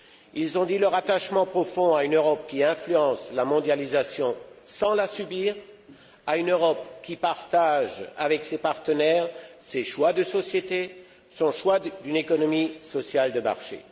Ils ont dit leur attachement profond à une Europe qui influence la mondialisation sans la subir, à une Europe qui partage avec ses partenaires ses choix de société, son choix d'une économie sociale de marché.